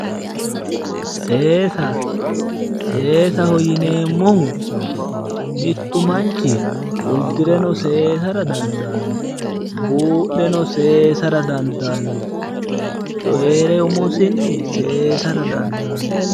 Seesa, seesaho yineemmohu mittu manchi uddireno seessara dandaanno buudheno seesa dandaanno coyireno seessara dandaanno.